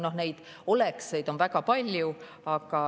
Neid olekseid on väga palju.